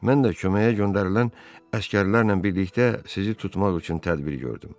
Mən də köməyə göndərilən əsgərlərlə birlikdə sizi tutmaq üçün tədbir gördüm.